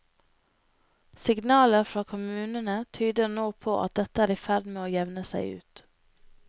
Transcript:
Signaler fra kommunene tyder nå på at dette er i ferd med å jevne seg ut.